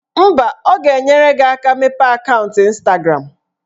Mba, ọ ga-enyere gị aka mepee akaụntụ Ịnstagram